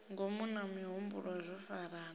ngomu na mihumbulo zwo farana